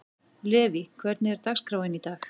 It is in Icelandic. Levý, hvernig er dagskráin í dag?